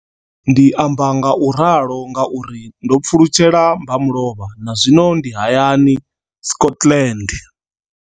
Ndi amba ngauralo nga uri ndo pfulutshela mmba mulovha na zwino ndi hayani, Scotland.